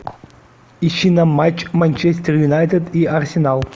ищи нам матч манчестер юнайтед и арсенал